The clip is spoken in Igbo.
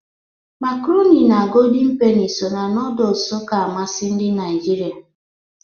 Makarọni na Godin Peni so na nọdụs ka amasị ndị Naịjirịa.